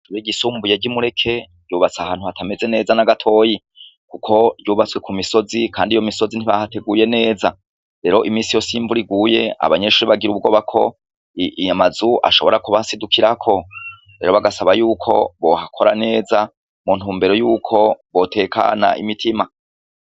Ishure ryisumbuye ry'i Mureke ryubatse ahantu hatameze neza na gatoyi, kuko ryubatse ku misozi kandi iyo misozi ntibahateguye neza. Rero iminsi yose iyo imvura iguye abanyeshure bagira ubwoba ko amazu ashobora kubasidukirako. Bagasaba y'uko bohakora neza mu ntumbero y'uko botekana imirima.